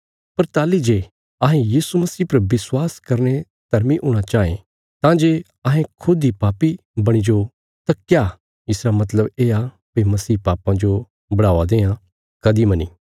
पर ताहली जे अहें यीशु मसीह पर विश्वास करीने धर्मी हूणा चाँये तां जे अहें खुद इ पापी बणी जाओ तां क्या इसरा मतलब येआ भई मसीह पापां जो बढ़ावा देआं कदीं मनी